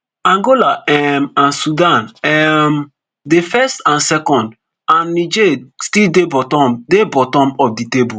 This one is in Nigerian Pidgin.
angola um and sudan um dey first and second and niger still dey bottom dey bottom of di table